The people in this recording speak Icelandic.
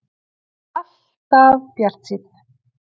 Alltaf bjartsýnn!